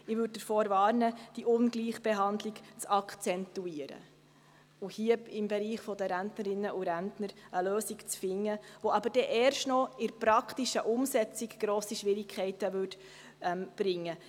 Ich warne davor, diese Ungleichbehandlung zu akzentuieren und hier im Bereich der Rentnerinnen und Rentner eine Lösung zu finden, die in der praktischen Umsetzung erst noch grosse Schwierigkeiten mit sich brächte.